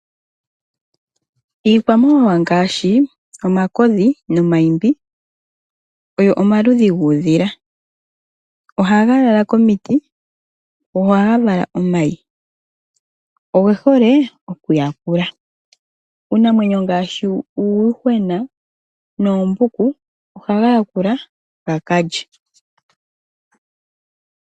Iikwamawawa ngaashi, omakodhi nomaimbi oyo omaludhi guudhila. Oha ga lala komiti, go oha ga vala omayi. Ogehole oku yakula uunamwenyo ngaashi uuyuhwena noombuku oha ga yakula gakalye.